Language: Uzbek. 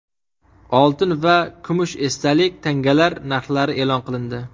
Oltin va kumush esdalik tangalar narxlari e’lon qilindi.